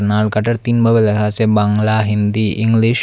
নালকাটার তিনভাবে লেখা আসে বাংলা হিন্দি ইংলিশ ।